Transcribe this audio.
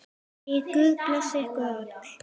Megi Guð blessa ykkur öll.